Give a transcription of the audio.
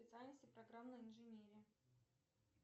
специальности программная инженерия